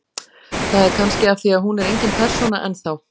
Það er kannski af því að hún er engin persóna enn þá.